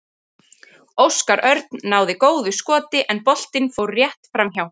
Óskar Örn náði góðu skoti en boltinn fór rétt framhjá.